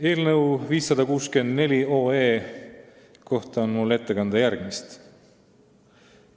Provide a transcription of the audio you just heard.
Eelnõu 564 kohta on mul ette kanda järgmist.